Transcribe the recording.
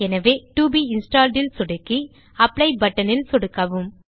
எனவே to be installed ல் சொடுக்கி அப்ளை பட்டன் ல் சொடுக்கவும்